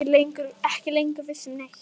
Ekki lengur viss um neitt.